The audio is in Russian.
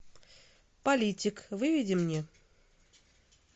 политик выведи мне